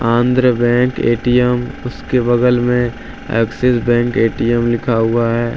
Andhra bank ATM उसके बगल में एक्सिस बैंक ए_टी_एम लिखा हुआ है।